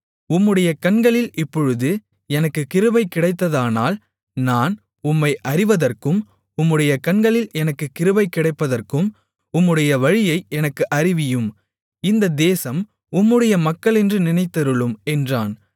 உம்முடைய கண்களில் இப்பொழுது எனக்குக் கிருபை கிடைத்ததானால் நான் உம்மை அறிவதற்கும் உம்முடைய கண்களில் எனக்குக் கிருபை கிடைப்பதற்கும் உம்முடைய வழியை எனக்கு அறிவியும் இந்த தேசம் உம்முடைய மக்களென்று நினைத்தருளும் என்றான்